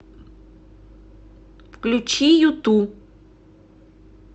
включи юту